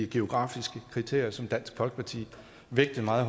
geografiske kriterie som dansk folkeparti vægtede meget